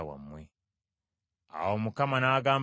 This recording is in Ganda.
Awo Mukama n’agamba Musa nti,